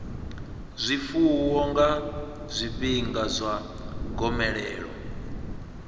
zwifuwo nga zwifhinga zwa gomelelo